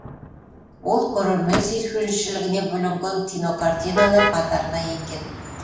ол көрермен сүйіспеншілігіне бөленген кинокартиналар қатарына енген